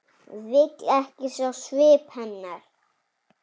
Vill ekki sjá svip hennar.